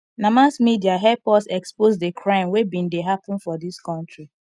na mass media help us expose di crime wey bin dey happen for dis country